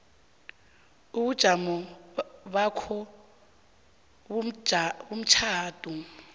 ubujamo bakho bomtjhado